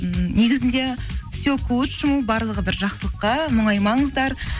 ммм негізінде барлығы бір жақсылыққа мұңаймаңыздар